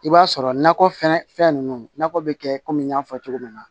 I b'a sɔrɔ nakɔ fɛnɛ fɛn nunnu nakɔ be kɛ kɔmi n y'a fɔ cogo min na